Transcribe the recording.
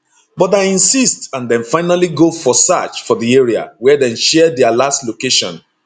but i insist and dem finally go for search for di area wia dem share dia last location